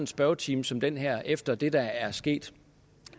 spørgetime som den her efter det der er sket